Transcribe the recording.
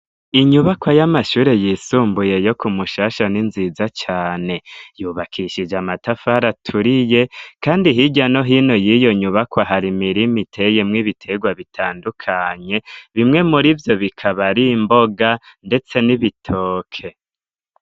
Inyubako y'amashure yisumbuye yo Kumushasha n'inziza cane yubakishije amatafari aturiye kandi hirya no hino yiyo nyubako hari imirima iteyemwo ibitegwa bitandukanye bimwe murivyo bikaba ari imboga ndetse n'ibitoke.